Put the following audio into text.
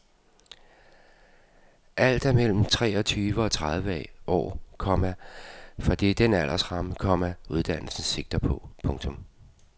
Alle er mellem treogtyve og tredive år, komma for det er den aldersramme, komma uddannelsen sigter på. punktum